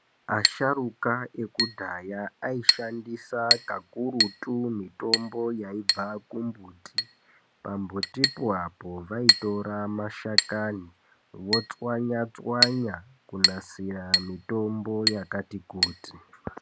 Asharuka ekudhaya aishandisa kakurutu mitombo yaibva ku mbuti pa mbuti po apo vaitora mashakani votswanya tswanya kunasira mitombo yakati kuti.